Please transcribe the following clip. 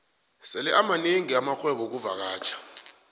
sele amanengi amarhwebo wexkuvakatjha